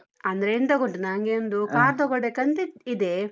ಅಂದ್ರೆ ಎಂತ ಗೊತ್ತುಂಟಾ, ನನ್ಗೆ ಒಂದು car ತಗೊಳ್ಬೇಕಂತಿದೆ.